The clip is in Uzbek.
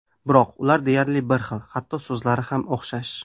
Biroq ular deyarli bir xil, hatto so‘zlari ham o‘xshash.